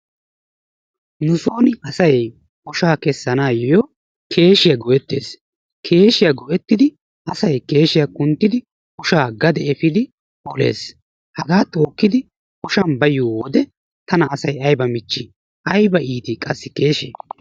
Nu soon asay oshshaa kessanayoo keeshshiyaa go"ettees. keeshshiyaa go"ettidi asay keeshshiyaa kunttidi asay oshshaa gade efiidi olees. hagaa tookkidi asay ooshshan baayiyoo wode tana ayba itii! ayba michchii qassi keeshshee.